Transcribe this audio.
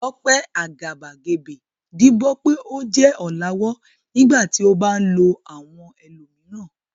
Tope agabagebe díbọ́n pé ó jẹ́ ọ̀làwọ́ nígbà tí ó bá ń lo àwọn ẹlòmíràn.